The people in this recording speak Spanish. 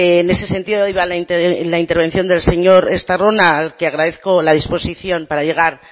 en ese sentido iba la intervención del señor estarrona al que agradezco la disposición para llegar